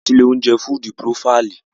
A lọ sí ilé-oúnjẹ Fúdúú Purofàìlì.